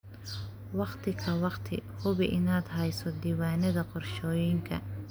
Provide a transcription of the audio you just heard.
Waqti ka waqti, hubi inaad hayso diiwaannada qorshooyinka.